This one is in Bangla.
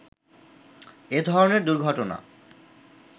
এ ধরনের দুর্ঘটনা